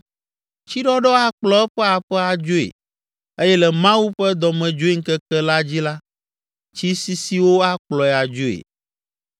Tsiɖɔɖɔ akplɔ eƒe aƒe adzoe eye le Mawu ƒe dɔmedzoeŋkeke la dzi la, tsi sisiwo akplɔe adzoe.